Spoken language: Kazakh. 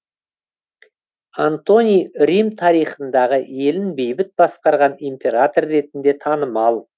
антоний рим тарихындағы елін бейбіт басқарған император ретінде танымал